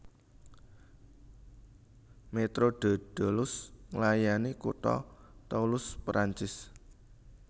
Métro de Toulouse nglayani kutha Toulouse Perancis